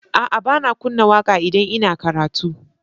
A'a, ba na kunna waƙa idan ina karatu.